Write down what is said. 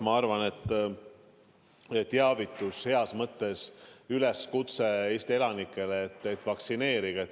Ma arvan, et teavitus, heas mõttes üleskutse Eesti elanikele on, et vaktsineerige.